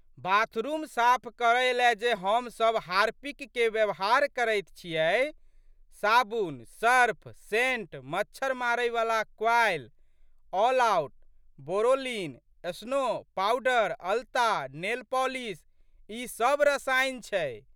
Bathroom साफ करैलए जे हमसब हार्पिक के व्यवहार करैत छियै, साबुन, सर्फ, सेंट, मच्छर मारैवला coil, All Out, Boroline, snow, powder, अलता, नेल पॉलिस ई सब रसायन छै।